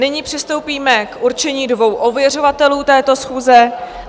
Nyní přistoupíme k určení dvou ověřovatelů této schůze.